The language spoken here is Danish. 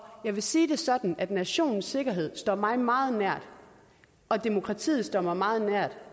jeg vil sige det sådan at nationens sikkerhed står mig meget nær og demokratiet står mig meget nært